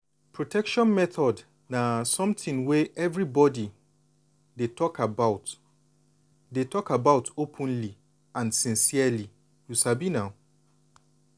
protection methods na something wey everybody suppose dey talk about dey talk about openly and sincerely you sabi na.